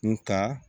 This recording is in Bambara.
N ta